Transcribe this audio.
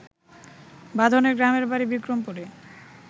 বাঁধনের গ্রামের বাড়ি বিক্রমপুরে